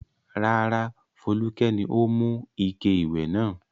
Rárá, Folúkẹ́ ni ó mú ike ìwẹ̀ náà.